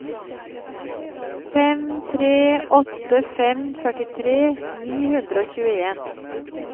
fem tre åtte fem førtitre ni hundre og tjueen